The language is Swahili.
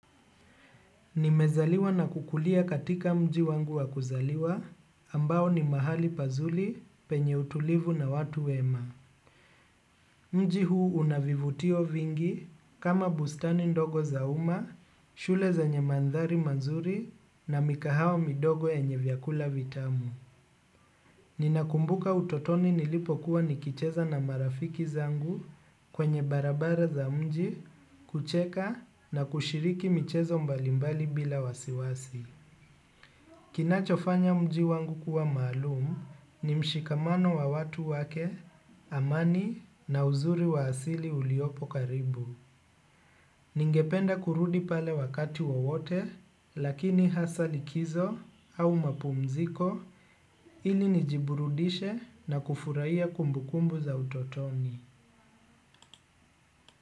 Nimezaliwa na kukulia katika mji wangu wakuzaliwa, ambao ni mahali pazuli penye utulivu na watu wema. Mji huu unavivutio vingi kama bustani ndogo za uma, shule zenye mandhari mazuri na mikahawa midogo yenye vyakula vitamu. Ninakumbuka utotoni nilipo kuwa nikicheza na marafiki zangu kwenye barabara za mji, kucheka na kushiriki michezo mbalimbali bila wasiwasi. Inachofanya mji wangu kuwa maalum ni mshikamano wa watu wake amani na uzuri wa asili uliopo karibu. Ningependa kurudi pale wakati wowote lakini hasa likizo au mapumziko ili nijiburudishe na kufurahia kumbukumbu za utotoni.